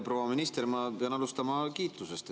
Proua minister, ma pean alustama kiitusest.